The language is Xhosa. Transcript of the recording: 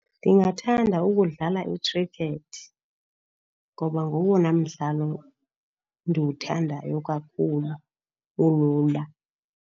Ndingathanda ukudlala i-cricket ngoba ngowona mdlalo ndiwuthandayo kakhulu, olula.